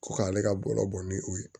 Ko k'ale ka bɔlɔ bɔ ni o ye